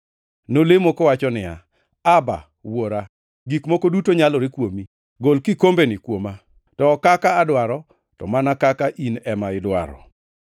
Nolemo kowacho niya, \+wj “Abba,\+wj* + 14:36 Abba en dho jo-Hibrania ma tiende ni wuora. Wuora, gik moko duto nyalore kuomi. Gol kikombeni kuoma. To ok kaka adwaro to mana kaka in ema idwaro.”